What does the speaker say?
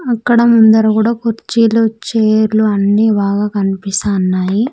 అక్కడ అందరు కూడా కుర్చీలు చైర్ లు అన్నీ బాగా కనిపిస్తా ఉన్నాయి.